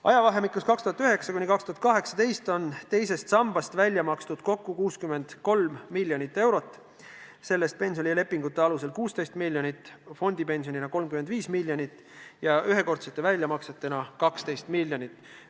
Ajavahemikul 2009–2018 on teisest sambast välja makstud kokku 63 miljonit eurot, sellest pensionilepingute alusel 16 miljonit, fondipensionina 35 miljonit ja ühekordsete väljamaksetena 12 miljonit.